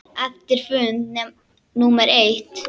Eftir fund númer eitt.